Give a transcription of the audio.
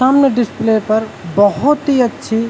सामने डिस्प्ले पर बहुत ही अच्छी --